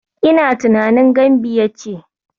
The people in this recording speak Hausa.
Ina tunanin Gambiya ce.